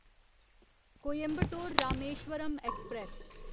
Coimbatore Rameswaram express